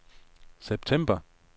september